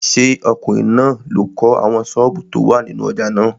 Ṣé ọkùnrin náà ló kọ́ àwọn sọ́ọ̀bù tó wà nínú ojà náà?